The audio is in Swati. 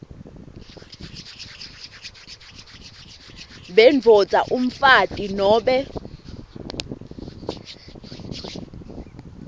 bendvodza umfati nobe